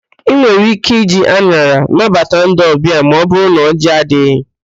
Ị nwere íké iji an̄ara nabata ndị ọbịa ma ọbụrụ na ọjị adịghị.